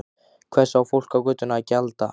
Hvers á fólkið á götunni að gjalda?